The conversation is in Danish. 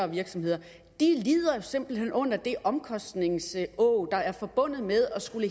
virksomheder lider simpelt hen under det omkostningsåg der er forbundet med at skulle